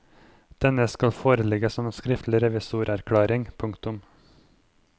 Denne skal foreligge som en skriftlig revisorerklæring. punktum